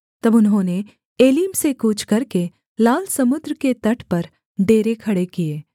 तब उन्होंने एलीम से कूच करके लाल समुद्र के तट पर डेरे खड़े किए